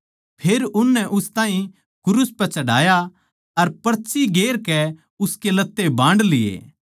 फेर उननै उस ताहीं क्रूस पै चढ़ाया अर पर्ची गेर कै उसके लत्ते बांड लिये